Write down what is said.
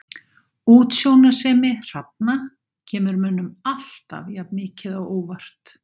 Útsjónarsemi hrafna kemur mönnum alltaf jafn mikið á óvart.